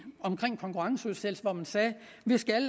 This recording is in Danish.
omkring konkurrenceudsættelse hvori man sagde